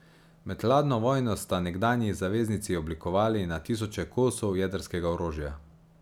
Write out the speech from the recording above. Med hladno vojno sta nekdanji zaveznici oblikovali na tisoče kosov jedrskega orožja.